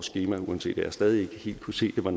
skema uanset at jeg stadig ikke helt kunne se det var